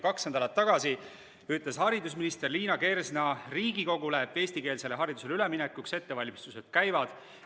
Kaks nädalat tagasi ütles haridusminister Liina Kersna Riigikogule, et eestikeelsele haridusele üleminekuks ettevalmistused käivad.